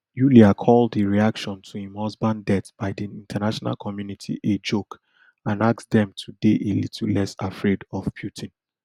yulia call di reaction to im husband death by di international community a joke and ask dem to dey a little less afraid of of putin